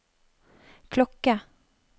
klokke